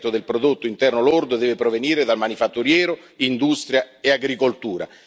del prodotto interno lordo deve provenire dal manifatturiero, industria e agricoltura.